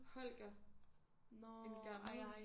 Holger. En gammel